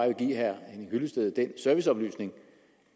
vil give herre henning hyllested den serviceoplysning